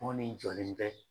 N kɔni jɔlen bɛ